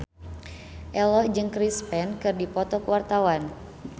Ello jeung Chris Pane keur dipoto ku wartawan